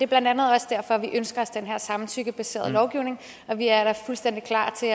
blandt andet også derfor vi ønsker os den her samtykkebaserede lovgivning og vi er da fuldstændig klar til